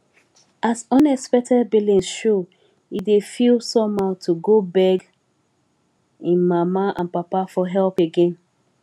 as unexpected billings show he dey feel somehow to go beg him mama and papa for help again